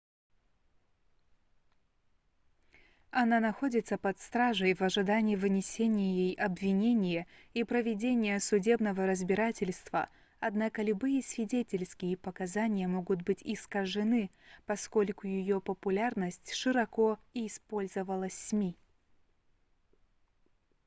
она находится под стражей в ожидании вынесения ей обвинения и проведения судебного разбирательства однако любые свидетельские показания могут быть искажены поскольку её популярность широко использовалась сми